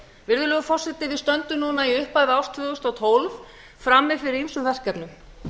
virðulegur forseti við stöndum núna í upphafi árs tvö þúsund og tólf frammi fyrir ýmsum verkefnum